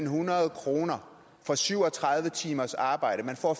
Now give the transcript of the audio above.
hundrede kroner for syv og tredive timers arbejde man får